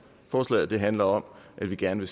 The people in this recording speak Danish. forslaget handler om at vi gerne